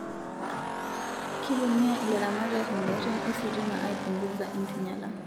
Kitumia ilaramatak ngarin ositima aipunguza enkinyala